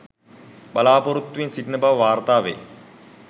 බලාපොරොත්තුවෙන් සිටින බව වාර්තා වේ.